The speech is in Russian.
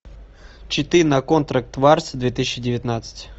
читы на контракт варс две тысячи девятнадцать